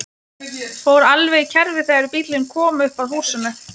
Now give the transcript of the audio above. Fór alveg í kerfi þegar bíllinn kom upp að húsinu.